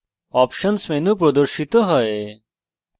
options options menu প্রদর্শিত হয়